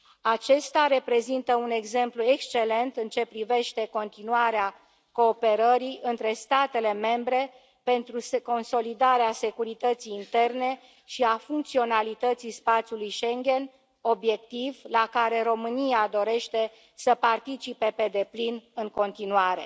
Acesta reprezintă un exemplu excelent în ceea ce privește continuarea cooperării între statele membre pentru consolidarea securității interne și a funcționalității spațiului Schengen, obiectiv la care România dorește să participe pe deplin în continuare.